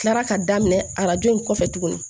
Tilara ka daminɛ arajo in kɔfɛ tuguni